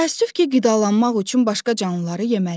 Təəssüf ki, qidalanmaq üçün başqa canlıları yeməliyəm.